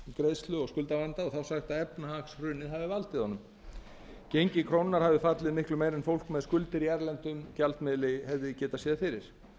greiðslu og skuldavanda og þá sagt að efnahagshrunið hafi valdið honum gengi krónunnar hafi fallið miklu meira heldur en fólk með skuldir í erlendum gjaldmiðli hefði getað séð fyrir